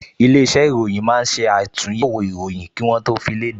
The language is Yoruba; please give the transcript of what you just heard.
Ilé-iṣẹ́ ìròyìn máa ń ṣe àtúnyẹ̀wò ìròyìn kí wọ́ tó fi léde